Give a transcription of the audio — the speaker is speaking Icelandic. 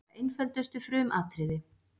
Bara einföldustu frumatriði.